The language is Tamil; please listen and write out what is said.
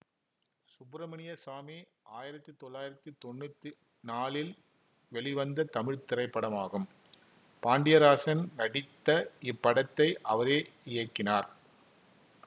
சுப்பிரமணிய சாமி ஆயிரத்தி தொள்ளாயிரத்தி தொன்னூத்தி நாலில் வெளிவந்த தமிழ் திரைப்படமாகும் பாண்டியராஜன் நடித்த இப்படத்தை அவரே இயக்கினார்